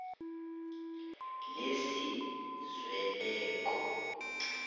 lesizweloke